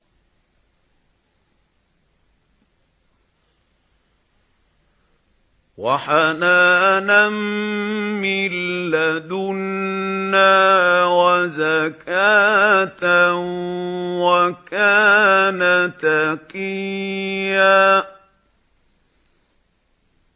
وَحَنَانًا مِّن لَّدُنَّا وَزَكَاةً ۖ وَكَانَ تَقِيًّا